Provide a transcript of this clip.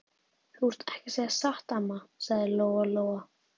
Þú ert ekki að segja satt, amma, sagði Lóa Lóa.